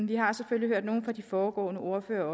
vi har selvfølgelig hørt nogle af de foregående ordførere